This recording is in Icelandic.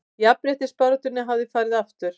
Jafnréttisbaráttunni hafi farið aftur